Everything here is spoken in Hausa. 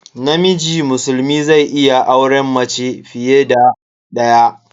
Namiji musulmi zai iya auren mace fiye da daya.